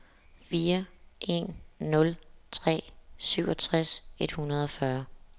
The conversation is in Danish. fire en nul tre syvogtres et hundrede og fyrre